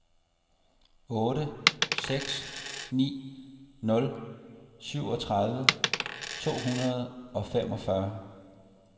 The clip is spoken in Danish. otte seks ni nul syvogtredive to hundrede og femogfyrre